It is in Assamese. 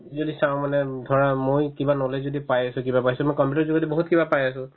যদি চাও মানে ধৰা মই কিবা knowledge য়েদি পাই আছো কিবা পাইছো মই completely যদি বহুত কিবা পাই আছো